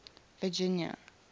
virginia